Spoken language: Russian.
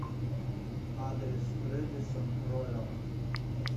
адрес рэдисон роял